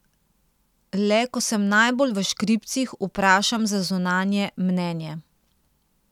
Le ko sem najbolj v škripcih, vprašam za zunanje mnenje.